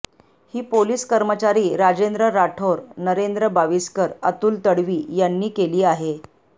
ही police कर्मचारी राजेंद्र राठोर नरेंद्र बाविस्कर अतुल तडवी यांनी केली आहे